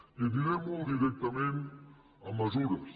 i aniré molt directament a mesures